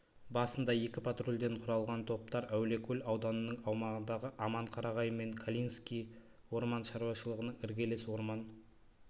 басында екі патрульден құралған топтар әулиекөл ауданының аумағындағы аманқарағай мен калининский орман шаруашылығының іргелес орман